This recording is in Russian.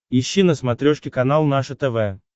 ищи на смотрешке канал наше тв